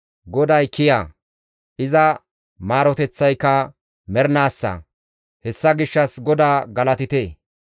GODAY kiya; iza maaroteththayka mernaassa; hessa gishshas GODAA galatite.